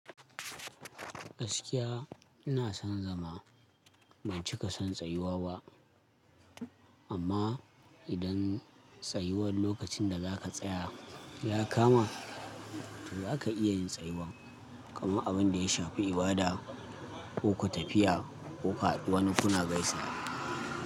Gaskiya ina son zama ban cika son tsayuwa ba, amma idan tsayuwar lokacin da za a tsaya ya kama, to za ka iya yin tsayuwar, kamar abin da ya shafi ibada ko tafiya ko ku hadu wani kuna gaisawa.